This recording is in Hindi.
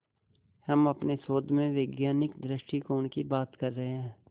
हम अपने शोध में वैज्ञानिक दृष्टिकोण की बात कर रहे हैं